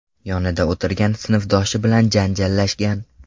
yonida o‘tirgan sinfdoshi bilan janjallashgan.